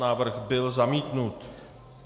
Návrh byl zamítnut.